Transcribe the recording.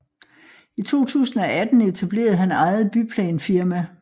I 2018 etablerede han eget byplanfirma